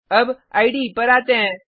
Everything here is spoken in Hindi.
अब इडे पर आते हैं